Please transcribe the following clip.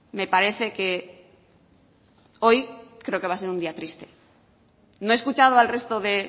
me parece que hoy va a ser un día triste no he escuchado al resto de